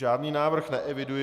Žádný návrh neeviduji.